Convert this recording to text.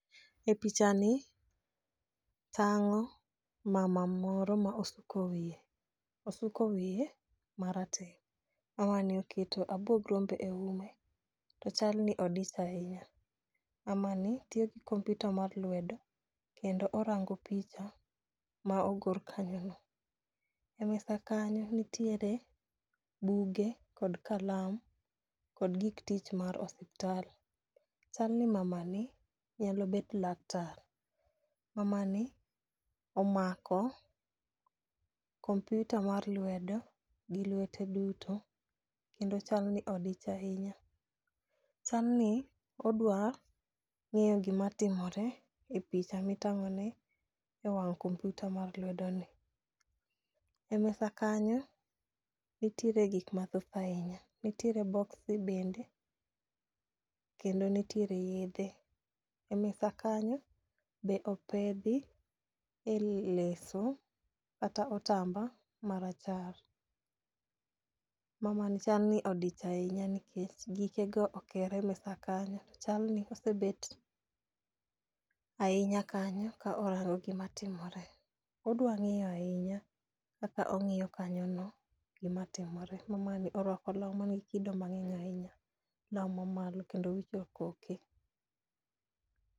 E picha ni tang'o mama moro ma osuko wiye, osuko wiye marateng'. Mama ni oketo abuog rombe e ume to chal ni odich ahinya. Mama ni tiyo gi kompyuta mar lwedo kendo orango picha ma ogor kanyo no. E mesa kanyo nitire buge kod kalam kod gik tich mar osiptal, chal ni mamani nyalo bet laktar. Mama ni omako kompyuta mar lwedo gi lwete duto kendo chal ni odich ahinya. Chal ni odwa ng'eyo gima timore e picha mitang'o ni e wang' kompyuta mar lwedo ni. E mesa kanyo , nitiere gik mathoth ahinya nitiere boxi bende kendo nitiere yedhe. E mesa kanyo be opedhi e leso kata otamba marachar . Mama ni chal ni odich ahinya nikech gikego okere mesa kanyo, chal ni osebet ahinya kanyo ka orango gima timore. Odwa ng'eyo ahinya ka ong'iyo kanyo no gima timore . Mama ni orwako law manigi kido mang'eny ahinya law mamalo kendo owicho koke.